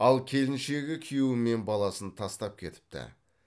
ал келіншегі күйеуі мен баласын тастап кетіпті